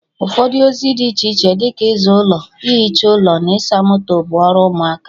Ụfọdụ ozi dị iche iche dị ka ịza ụlọ, ihicha ụlọ na ịsa moto, bụ ọrụ ụmụaka